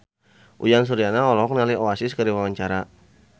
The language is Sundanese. Uyan Suryana olohok ningali Oasis keur diwawancara